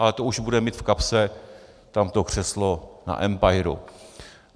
Ale to už bude mít v kapse tamto křeslo na empiru.